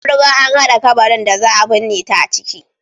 An riga an hada kabarin da za a binne ta a ciki.